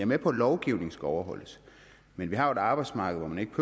med på at lovgivningen skal overholdes men vi har jo et arbejdsmarked hvor man ikke